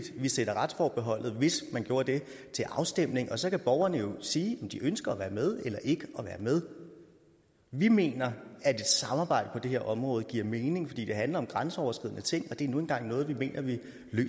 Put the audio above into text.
at vi sætter retsforbeholdet hvis man gjorde det til afstemning og så kan borgerne jo sige om de ønsker at være med eller ikke være med vi mener at et samarbejde på det her område giver mening fordi det handler om grænseoverskridende ting og det er nu engang noget vi mener vi